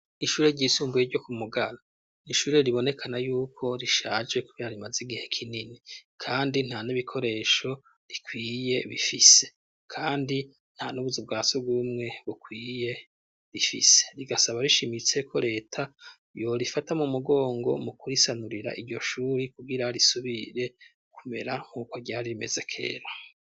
Ishure ryisumbuye ryo ku Mugara ni ishure ribonekana yuko rishaje kkubera rimaze igihe kinini; kandi nta n'ibikoresho rikwiye bifise; kandi nta n'ubuzu bwa surwumwe bukwiye rifise. Rigasaba rishimise ko leta yo rifata mu mugongo mu kurisanurira iryo shuri kugira risubire kumera nk'uko ryari rimeze kera.